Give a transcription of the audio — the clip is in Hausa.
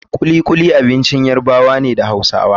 Kulikuli abincin Yarabawa ne da Hausawa.